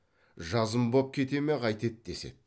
жазым боп кете ме қайтеді деседі